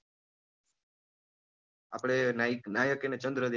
આપણે નાઈક નાયક અને ચંદ્ર